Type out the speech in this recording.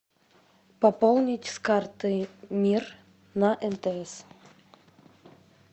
пополнить с карты мир на мтс